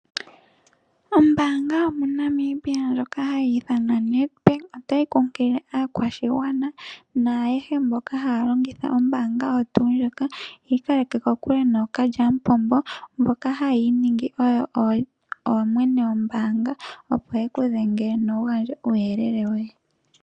Ombaanga yo moNamibia ndjoka ha yi ithwana Nedbank ota yi kunkilile aakwashigwana naayehe mboka ha ya longitha ombaanga oyo tuu ndjika, yiikaleke kokule nookalyamupombo mboka ha ya iiningi oyo oyene yombaanga opo ye ku dhenge no wu gandje uuyelele woye.